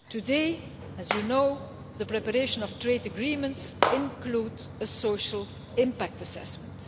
Today, as you know, the preparation of trade agreements includes a social impact assessment.